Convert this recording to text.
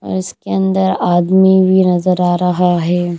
और इसके अंदर आदमी भी नजर आ रहा है।